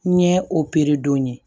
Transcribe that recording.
N ɲɛ don